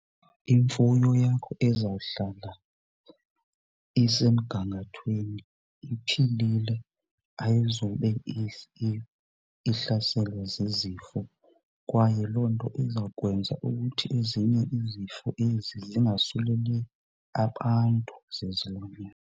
Imfuyo yakho izawuhlala isemgangathweni, iphilile, ayizube ihlaselwa zizifo. Kwaye loo nto izawukwenza ukuthi ezinye izifo ezi zingasuleli abantu zezilwanyana.